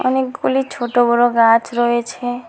অনেকগুলি ছোট বড়ো গাছ রয়েছে।